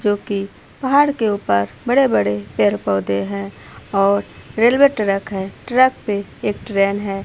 जो की पहाड़ के ऊपर बड़े-बड़े पेड़-पौधे है और रेलवे ट्रैक है। ट्रैक पे एक ट्रेन है।